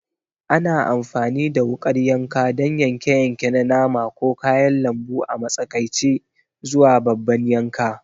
Ana amfani da wukar yanka don yanke-yanke na nama ko kayan lambu a matsakaici zuwa babban yanka.